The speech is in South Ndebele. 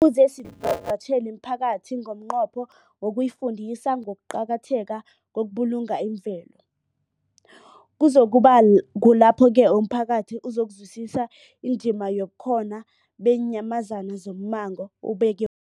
Kufuze sivakatjhele imiphakathi ngomnqopho wokuyifundisa ngokuqakatheka kokubulunga imvelo. Kuzoku ba kulapho-ke umphakathi uzokuzwisisa indima yobukhona beenyamazana zommango, ubeke